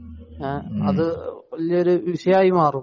അത് വലിയ ഒരു വിഷയമായി മാറും